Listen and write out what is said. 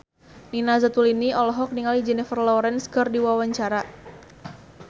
Nina Zatulini olohok ningali Jennifer Lawrence keur diwawancara